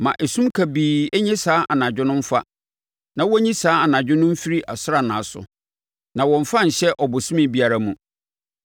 Ma esum kabii nnye saa anadwo no mfa; ma wɔnyi saa anadwo no mfiri asranna so na wɔmmfa nhyɛ ɔbosome biara mu.